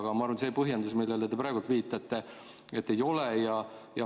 Aga ma arvan, et põhjendus, millele te praegu viitate, et ei ole.